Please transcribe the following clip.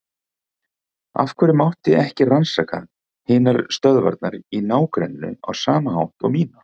Af hverju mátti ekki rannsaka hinar stöðvarnar í ná- grenninu á sama hátt og mína?